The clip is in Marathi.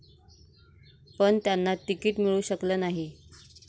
पण त्यांना तिकीट मिळू शकलं नाही.